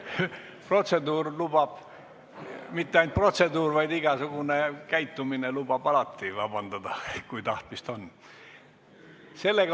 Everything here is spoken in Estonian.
Protseduur lubab, isegi mitte ainult protseduur, vaid igasugune käitumine lubab alati vabandust paluda, kui tahtmist on.